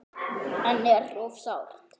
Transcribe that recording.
En er of sárt.